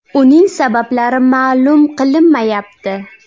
Uning sabablari ma’lum qilinmayapti.